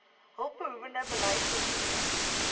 hulpbehoewende beleid oortree